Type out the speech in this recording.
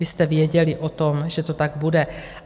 Vy jste věděli o tom, že to tak bude.